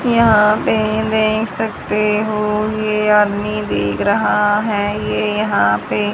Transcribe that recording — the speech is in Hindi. यहां पे देख सकते हो ये आदमी देख रहा है। ये यहां पे--